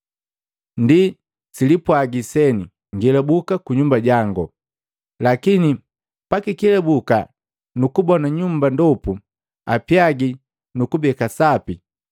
ndi salipwagila seni, ‘Ngelubuka kunyumba jangu.’ Lakini pakikelabuka nukukubona nyumba ndopu apyaagi nu kubeka sapi,